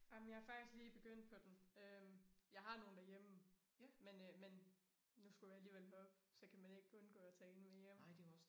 Ej men jeg er faktisk lige begyndt på den øh jeg har nogle derhjemme men øh men nu skulle jeg alligevel herop så kan man ikke undgå at tage en med hjem